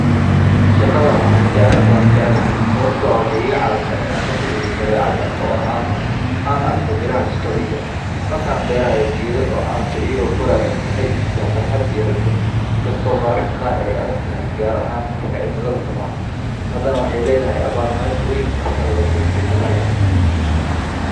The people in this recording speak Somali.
Waa dhismo gaar ah oo loo isticmaalo beeraha si loo xakameeyo xaaladaha cimilada, loona abuuro deegaan ku habboon koritaanka dhirta. Waxay ka samaysan tahay muraayado ama balaastiig hufan oo u oggolaanaya in iftiinka qorraxda soo galo, isla markaana ka hortaga in kulaylka gudaha uu baxo, taasoo keenta in heerkulka gudaha uu noqdo mid joogto ah oo ku habboon dhirta.